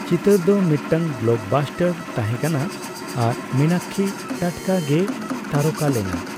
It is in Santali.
ᱪᱤᱛᱟᱹᱨ ᱫᱚ ᱢᱤᱫᱴᱟᱝ ᱵᱞᱚᱠᱵᱟᱥᱴᱟᱨ ᱛᱟᱦᱮᱸᱠᱟᱱᱟ ᱟᱨ ᱢᱤᱱᱟᱠᱽᱠᱷᱤ ᱴᱟᱴᱠᱟ ᱜᱮᱭ ᱛᱟᱨᱚᱠᱟ ᱞᱮᱱᱟ ᱾